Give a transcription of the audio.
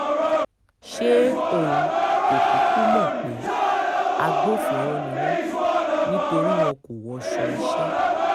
ṣé òun kò kúkú mọ̀ pé agbófinró ni wọ́n nítorí wọn kò wọṣọ iṣẹ́